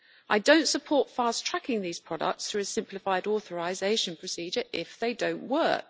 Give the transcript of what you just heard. I do not support fast tracking these products through a simplified authorisation procedure if they do not work.